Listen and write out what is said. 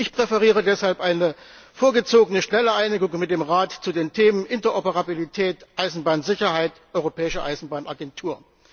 Ich präferiere daher eine vorgezogene, schnelle Einigung mit dem Rat zu den Themen Interoperabilität, Eisenbahnsicherheit, Europäische Eisenbahnagentur.